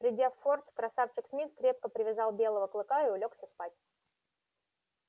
придя в форт красавчик смит крепко привязал белого клыка и улёгся спать